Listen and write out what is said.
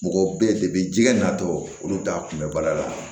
Mɔgɔ bɛ ye de jɛgɛ natɔ olu t'a kunbɛ baara la